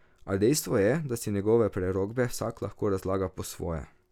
A dejstvo je, da si njegove prerokbe vsak lahko razlaga po svoje.